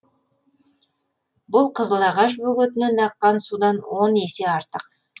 бұл қызыл ағаш бөгетінен аққан судан он есе артық